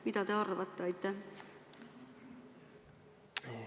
Mida te arvate?